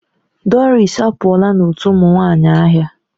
Doris apụọla n'otu ụmụ nwanyị ahịa.